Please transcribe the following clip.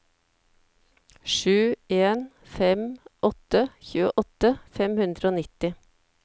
sju en fem åtte tjueåtte fem hundre og nitti